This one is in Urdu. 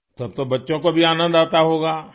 تو اب تو بچوں کو بھی مزہ آتا ہوگا